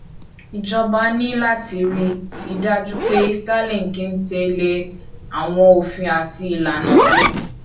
ìjọba ní láti rí i dájú pé starlink ń tè lé àwọn òfin àti ìlànà tó